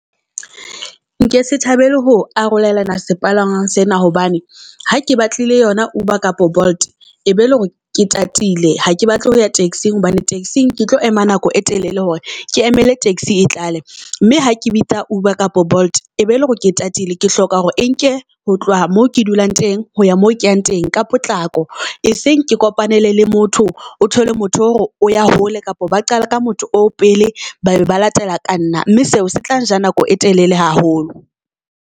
Nkese thabele ho arolelana sepalangwang sena, hobane ha ke batlile yona Uber kapa Bolt e be le hore ke tatile ha ke batle ho ya taxi-eng. Hobane taxi-eng ke tlo ema nako e telele hore ke emele taxi e tla le, mme ha ke bitsa Uber kapa Bolt e be ele hore ke tatile. Ke hloka hore e nke ho tloha moo ke dulang teng ho ya mo keyang teng ka potlako. E senge ke kopanele le motho o thole motho eo hore o ya hole kapa ba qala ka motho oo pele babe ba latela ka nna. Mme seo se tlang ja nako e telele haholo.